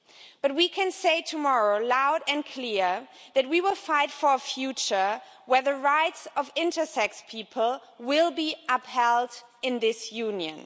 But we can say tomorrow, loud and clear, that we will fight for a future in which the rights of intersex people will be upheld in this Union.